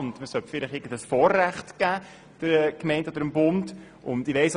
Und man sollte vielleicht den Gemeinden oder dem Bund irgendein Vorrecht geben.